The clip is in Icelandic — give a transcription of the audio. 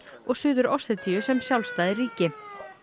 og Suður Ossetíu sem sjálfstæð ríki